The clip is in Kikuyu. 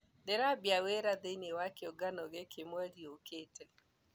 Ndĩrambia wĩra thĩinĩ wa kĩũngano gĩkĩ mweri ũkite.